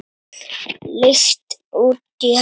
Leigt út í heild?